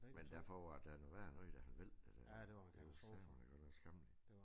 Men derfor var det da noget værre noget da han væltede der. Det var sateme da godt nok skammeligt